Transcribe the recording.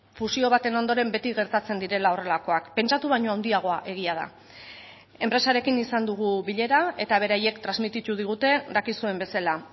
fusio baten ondoren beti gertatzen direla horrelakoak pentsatu baino handiagoa egia da enpresarekin izan dugu bilera eta beraiek transmititu digute dakizuen bezala